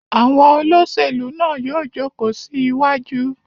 Àwọn olóṣèlú náà yóò jókòó sí iwájú.